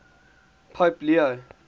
pope leo